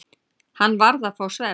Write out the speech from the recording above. Hann varð að fá vatn.